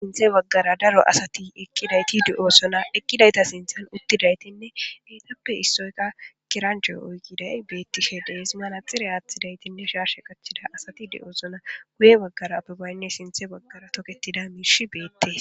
Sintha bagara daro asati eqidayti detese eqidayta sintha uttidaytine etappe issay kerenche oykiday betishe des manaxire athidaynne shashe qachida asati detes guye bagara abebayne sintha bagara daro toketida mishiy betes